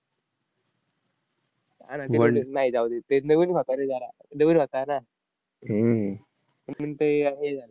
नाही, जाऊ दे. ते नवीन होता रे जरा, नवीन होता ना. म्हणून ते हे झालं.